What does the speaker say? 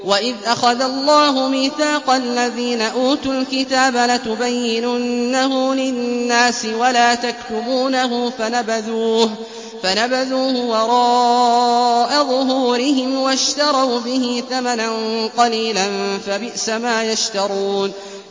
وَإِذْ أَخَذَ اللَّهُ مِيثَاقَ الَّذِينَ أُوتُوا الْكِتَابَ لَتُبَيِّنُنَّهُ لِلنَّاسِ وَلَا تَكْتُمُونَهُ فَنَبَذُوهُ وَرَاءَ ظُهُورِهِمْ وَاشْتَرَوْا بِهِ ثَمَنًا قَلِيلًا ۖ فَبِئْسَ مَا يَشْتَرُونَ